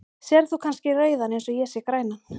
Sérð þú kannski rauðan eins og ég sé grænan?